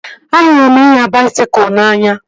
Ahụrụ m ịnya baisikụl n'anya